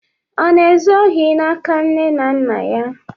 Ọ na-ezu ohi n'aka nne na nna ya?